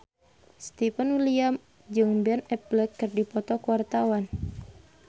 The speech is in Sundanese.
Stefan William jeung Ben Affleck keur dipoto ku wartawan